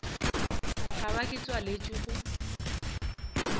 ka ba ke tswaletšwe go